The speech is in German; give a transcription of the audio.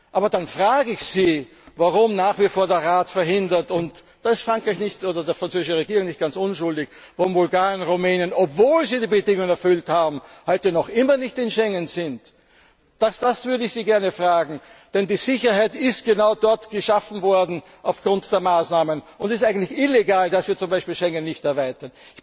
Aber dann frage ich Sie, warum nach wie vor der Rat verhindert und da ist die französische Regierung nicht ganz unschuldig dass Bulgarien und Rumänien, obwohl sie die Bedingungen erfüllt haben, heute noch immer nicht im Schengen Raum sind? Das würde ich Sie gerne fragen, denn die Sicherheit ist genau dort geschaffen worden, aufgrund der Maßnahmen. Es ist eigentlich illegal, dass wir zum Beispiel Schengen nicht erweitern.